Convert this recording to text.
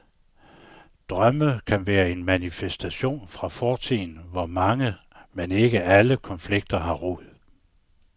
Drømme kan være en manifestation fra fortiden, hvor mange, men ikke alle konflikter har rod.